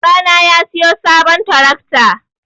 Babana ya siyo sabon tarakta.